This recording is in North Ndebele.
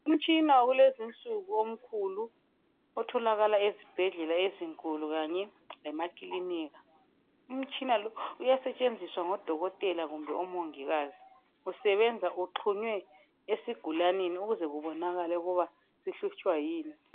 Umtshina wakulezinsuku omkhulu otholakala ezibhedlela ezinkulu kanye lemakilinika. Umtshina lo uyasetshenziswa ngodokotela kumbe omongikazi. Usebenza uxhunywe esigulaneni ukuze kubonakale ukuba sihlutshwa yini.